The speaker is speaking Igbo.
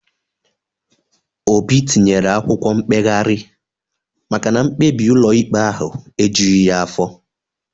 Obi tinyere akwụkwọ mkpegharị maka na mkpebi ụlọikpe ahụ ejughị ya afọ